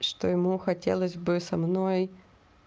что ему хотелось бы со мной